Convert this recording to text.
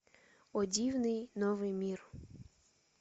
о дивный новый мир